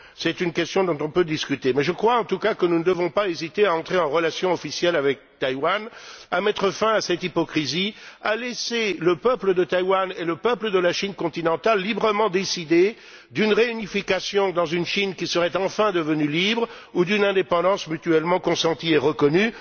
C'est une question dont nous pouvons discuter, mais je crois, en tout cas, que nous ne devons pas hésiter à entrer en relation officielle avec Taïwan, à mettre fin à cette hypocrisie, à laisser le peuple de Taïwan et le peuple de la Chine continentale librement décider d'une réunification dans une Chine qui serait enfin devenue libre ou d'une indépendance mutuellement consentie et reconnue.